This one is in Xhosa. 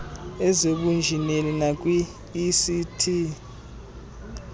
ezobunjineli nakwi ict